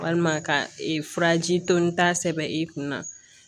Walima ka ee furaji to ni ta sɛbɛn i kunna